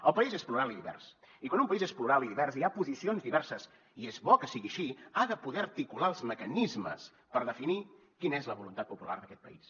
el país és plural i divers i quan un país és plural i divers i hi ha posicions diverses i és bo que sigui així ha de poder articular els mecanismes per definir quina és la voluntat popular d’aquest país